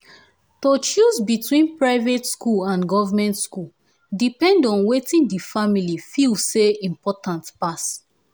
to choose between private school and goverment school depend on watin di family feel say important pass